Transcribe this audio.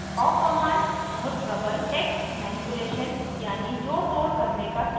awk command बहुत प्रबल text manipulation यानी जोड़तोड़ करने का tool है